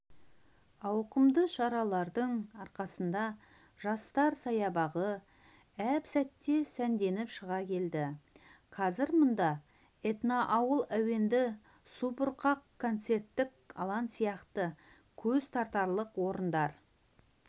ауқымды шаралардың арқасында жастар саябағы әп сәтте сәнденіп шыға келді қазір мұнда этноауыл әуенді субұрқақ концерттік алаң сияқты көз тартарлық орындар